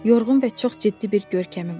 Yorğun və çox ciddi bir görkəmi vardı.